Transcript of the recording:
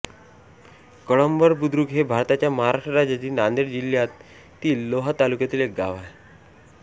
कळंबर बुद्रुक हे भारताच्या महाराष्ट्र राज्यातील नांदेड जिल्ह्यातील लोहा तालुक्यातील एक गाव आहे